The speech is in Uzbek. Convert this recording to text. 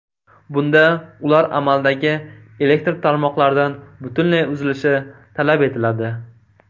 Bunda ular amaldagi elektr tarmoqlaridan butunlay uzilishi talab etiladi.